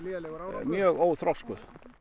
mjög óþroskuð